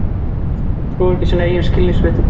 Trúir ekki sínum eigin skilningarvitum.